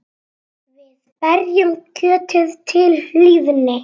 Við berjum kjötið til hlýðni.